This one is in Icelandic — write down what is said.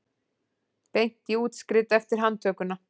Beint í útskrift eftir handtökuna